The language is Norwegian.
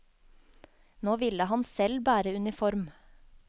Nå ville han selv bære uniform.